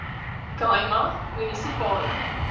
khai ma munisipale